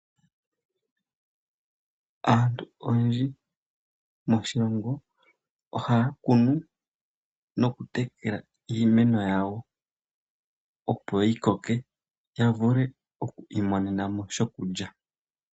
Aantu oyendji moshilongo ohaya kunu noku tekela iimeno yawo, opo yi koke ya vule oku imonena mo shokulya.